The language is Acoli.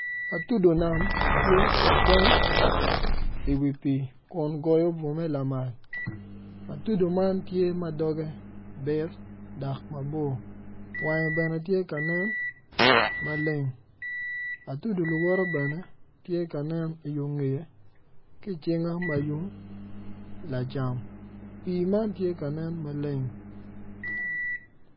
Atudu nam tye ka kwang kun goyo bwome lamal atudo man tye ma doge bit dok mabor wange bene tye kanen maleng atudu luwote bene tye ka nen i yo ngeye ki i cinga ma yung lacam pii man tye ka nen maleng.